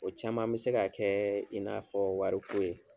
O caman bɛ se ka kɛ in n'a fɔ wariko ye.